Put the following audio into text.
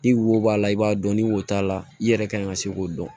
Ni wo b'a la i b'a dɔn ni wo t'a la i yɛrɛ kan ka se k'o dɔn